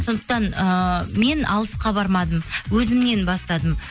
сондықтан ыыы мен алысқа бармадым өзімнен бастадым